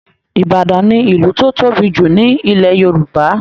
Ìbàdàn ni ìlú tó tóbi jù ní Ilẹ̀ Yorùbá